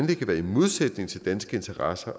kan være i modsætning til danske interesser